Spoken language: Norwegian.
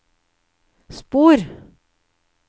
spor